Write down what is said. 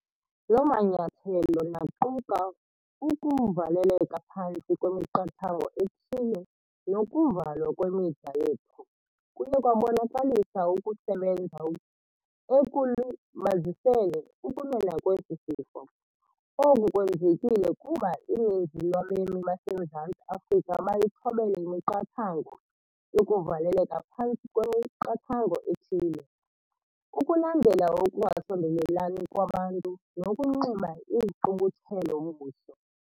Loo manyathelo - naquka ukuvaleleka phantsi kwemiqathango ethile nokuvalwa kwemida yethu - kuye kwabonakalisa ukusebenza ekulibaziseni ukunwenwa kwesi sifo. Oku kwenzekile kuba uninzi lwabemi baseMzantsi Afrika bayithobele imiqathango yokuvaleleka phantsi kwemiqathango ethile, ukulandela ukungasondelelani kwabantu nokunxiba izigqubuthelo-buso.